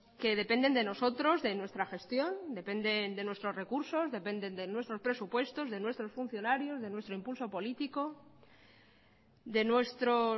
que dependen de nosotros de nuestra gestión dependen de nuestros recursos dependen de nuestros presupuestos de nuestros funcionarios de nuestro impulso político de nuestros